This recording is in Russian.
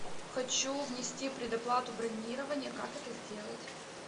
хочу внести предоплату бронирования как это сделать